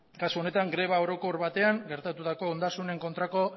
kasu honetan greba orokor batean gertatutako ondasunen kontrako